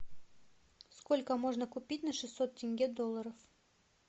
сколько можно купить на шестьсот тенге долларов